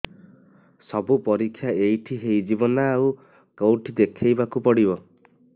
ସବୁ ପରୀକ୍ଷା ଏଇଠି ହେଇଯିବ ନା ଆଉ କଉଠି ଦେଖେଇ ବାକୁ ପଡ଼ିବ